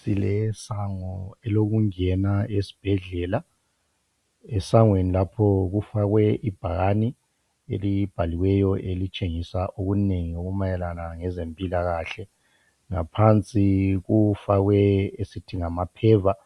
Silesango elokungena esibhedlela. Esangweni lapho kufakwe ibhakani elibhaliweyo elitshengisa okunengi okumayelana lezempilakahle. Ngaphansi kufakwe asithi ngama paver,